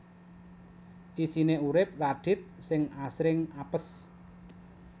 Isiné uripé Radith sing asring apes